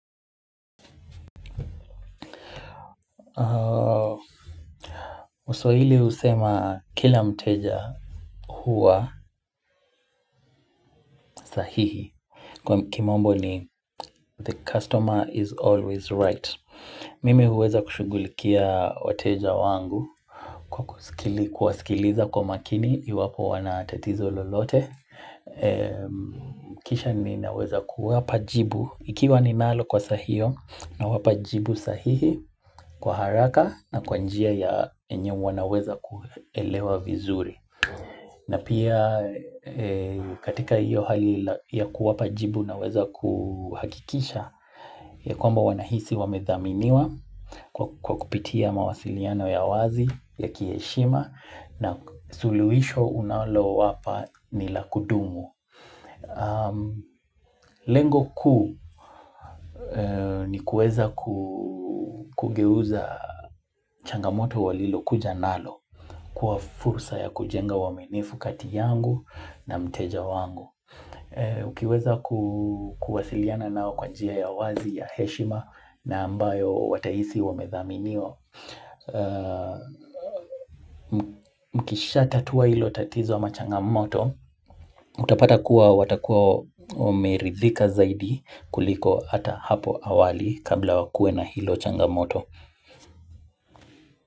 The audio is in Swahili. Waswahili husema kila mteja huwa sahihi Kwa kimombo ni the customer is always right Mimi huweza kushughulikia wateja wangu Kwa kuwasikiliza kwa makini iwapo wana tatizo lolote Kisha ninaweza kuwapa jibu ikiwa ninalo kwa saa hio nawapa jibu sahihi kwa haraka na kwa njia ya yenye wanaweza kuelewa vizuri na pia katika hiyo hali ya kuwapa jibu naweza kuhakikisha ya kwamba wanahisi wamedhaminiwa kwa kupitia mawasiliano ya wazi ya kiheshima na suluhisho unalowapa ni la kudumu. Lengo kuu ni kueza kugeuza changamoto walilokuja nalo kuwa fursa ya kujenga uaminifu kati yangu na mteja wangu. Ukiweza kuwasiliana nao kwa njia ya wazi ya heshima na ambayo watahisi wamethaminiwa Mkishatatua hilo tatizo ama changamoto Utapata kuwa watakuwa wameridhika zaidi kuliko ata hapo awali kabla wakue na hilo changamoto.